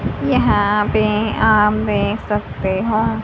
यहां पे आप देख सकते हो--